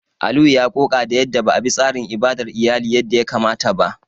Aliyu ya ƙoƙa da yadda ba a bi tsarin ibadar iyali yadda ya kamata ba.